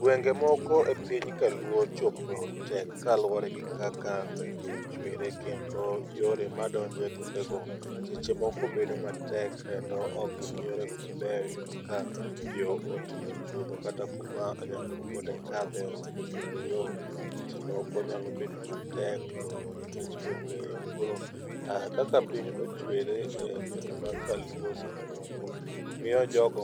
gwenge moko e piny kaluo chopo tek kaluwore gi kaka gwenge go ochwere kendo yore madonjo e gwenge go seche moko bedo matek kendo ok gin yore go mabeyo, iyudo ka yo otimo chuodho kata kuma nyamburko de kadhe ong'e kendo yo bedo matek luwo nikech ong'e yo, koro kaka piny ochwere e gwenge mag kaluo seche moko miyo jogo